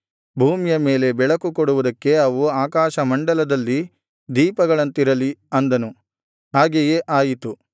ಭೂಮಿಯ ಮೇಲೆ ಬೆಳಕು ಕೊಡುವುದಕ್ಕೆ ಅವು ಆಕಾಶಮಂಡಲದಲ್ಲಿ ದೀಪಗಳಂತಿರಲಿ ಅಂದನು ಹಾಗೆಯೇ ಆಯಿತು